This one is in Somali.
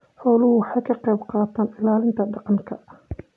Xooluhu waxay ka qayb qaataan ilaalinta deegaanka.